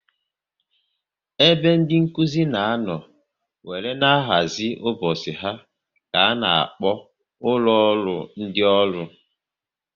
Ebe ndị Nkụzi na anọ wéré na-ahazi ụbọchị ha ka a na-akpọ ụlọ ọrụ ndị ọrụ